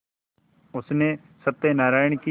उसने सत्यनाराण की